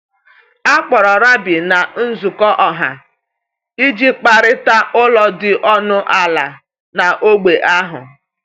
A kpọrọ rabbi na nzukọ ọha iji kparịta ụlọ dị ọnụ ala n’ógbè ahụ.